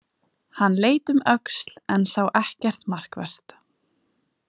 Hann leit um öxl en sá ekkert markvert.